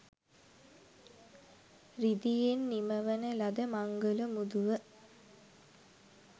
රිදියෙන් නිමවන ලද මංගල මුදුව